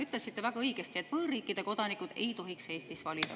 Ütlesite väga õigesti, et võõrriikide kodanikud ei tohiks Eestis valida.